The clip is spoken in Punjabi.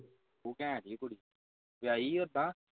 ਉਹ ਘੈਂਟ ਜੀ ਕੁੜੀ ਵਿਆਹੀ ਆ ਉਦਾਂ